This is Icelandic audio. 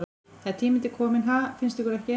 Það er tími til kominn, ha, finnst ykkur ekki?